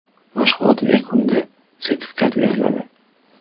Mashg‘ulot yakunida sertifikat beriladi.